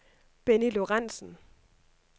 Benny Lorenzen